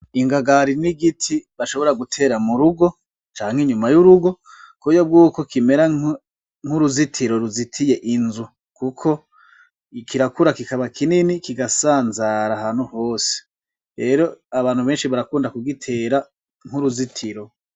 Ingagari ni igiti bashobora gutera murugo, canke inyuma y'urugo kuburyo bwuko gishobora kuba nk'uruzitiro ruzitiye inzu kuko kirakura kikaba kinini kigasanzara ahantu hose rero abantu benshi barakunda kugitera nk'uruzitiro.